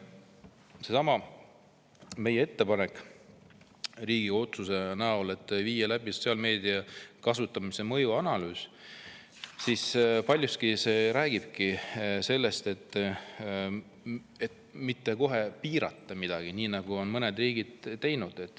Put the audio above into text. Seesama meie ettepanek, võtta vastu Riigikogu otsus, et viia läbi sotsiaalmeedia kasutamise mõjuanalüüs, räägib paljuski sellest, et ei ole vaja kohe piirata, nagu mõned riigid on teinud.